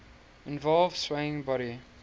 involve swaying body